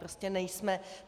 Prostě nejsme.